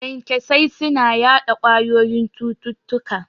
Kyankyasai suna yaɗa ƙwayoyin cututtuka